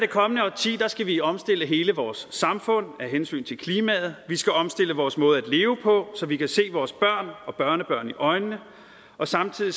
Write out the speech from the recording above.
kommende årti skal vi omstille hele vores samfund af hensyn til klimaet vi skal omstille vores måde at leve på så vi kan se vores børn og børnebørn i øjnene og samtidig